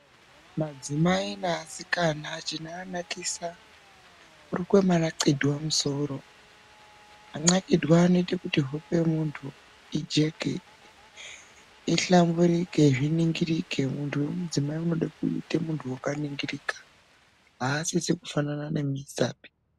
Madzimai neasikana chinoanakisa kurukwe manaxidhwe musoro asise. Manaxidhwe anoita kuti hope yemunhu ijeke, ihlamburike zviningirike. Munthu wemudzimai unode kuita munthu wakaningirika aasise kufanana nemuisapi.